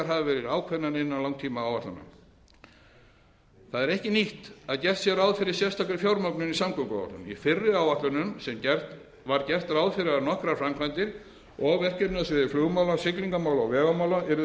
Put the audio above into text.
hafa verði ákveðnar innan langtímaáætlana það er ekki nýtt að gert sé ráð fyrir sérstakri fjármögnun í samgönguáætlun í fyrri áætlunum var gert ráð fyrir að nokkrar framkvæmdir og verkefni á sviði flugmála siglingamála og vegamála yrðu